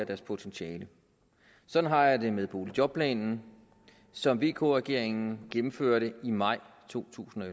deres potentiale sådan har jeg det med boligjobordningen som vk regeringen gennemførte i maj to tusind og